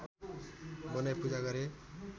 बनाई पूजा गरे